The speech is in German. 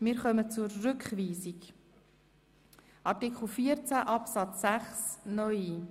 Wir kommen nun zur beantragten Rückweisung von Artikel 14 Absatz 6(neu).